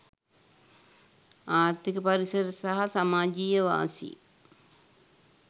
ආර්ථික පරිසර සහ සමාජයීය වාසි